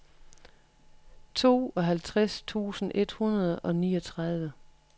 tooghalvtreds tusind et hundrede og niogtredive